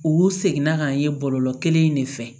U seginna ka ye bɔlɔlɔ kelen in de fɛ